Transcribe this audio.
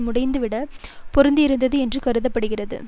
முடிந்துவிட்ட சகாப்தத்தோடுதான் பொருந்தியிருந்தது என்று கருதப்பட்டது